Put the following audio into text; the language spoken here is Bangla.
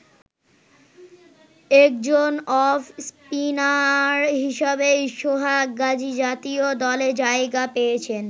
একজন অফ স্পিনার হিসাবেই সোহাগ গাজী জাতীয় দলে জায়গা পেয়েছেন।